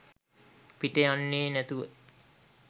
පිට යන්නේ නෑතුව